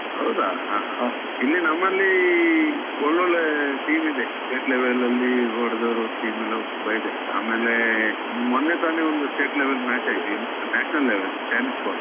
ಹೌದ? ಹ ಹ ಹ. ಇಲ್ಲಿ ನಮ್ಮಲ್ಲಿ ಒಳ್ಳೊಳ್ಳೆ team ಇದೆ. state level ಅಲ್ಲಿ ಹೊಡ್ದವರ team ಎಲ್ಲ ತುಂಬಾ ಇದೆ. ಆಮೇಲೇ ಮೊನ್ನೆ ತಾನೆ ಒಂದು state level match ಆಗಿದೆ, ಇನ್ನು national level, chinese ball .